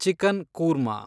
chicken korma